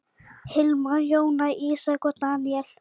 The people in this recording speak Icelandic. Hilmar, Jóna, Ísak og Daníel.